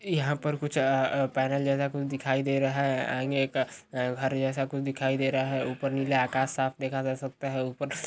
यहाँ पर कुछ आ पैनल जैसा कुछ दिखाई दे रहा है आंगे एक घर जैसा कुछ दिखाई दे रहा है ऊपर नीला आकाश साफ देखा जा सकता है ऊपर --